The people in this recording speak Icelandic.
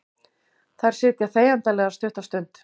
Þær sitja þegjandalegar stutta stund.